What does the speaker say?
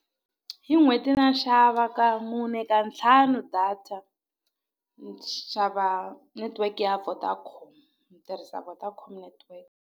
Hi n'hweti na xava ka mune ka ntlhanu data ni xava network ya Vodacom ni tirhisa Vodacom network.